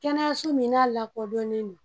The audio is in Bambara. Kɛnɛyaso min n'a lakɔdɔnnen don